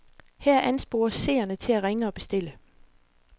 Her anspores seerne til at ringe og bestille.